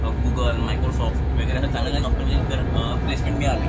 अ Google Microsoft वगैरे अशा चांगल्या चांगल्या अ प्लेसमेंट मिळाली.